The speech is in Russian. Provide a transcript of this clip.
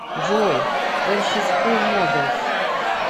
джой эр си скул моделс